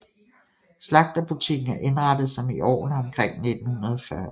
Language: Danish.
Slagterbutikken er indrettet som i årene omkring 1940